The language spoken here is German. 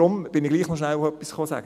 Deshalb sage ich hier noch etwas dazu.